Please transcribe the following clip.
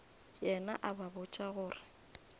yena a ba botša gore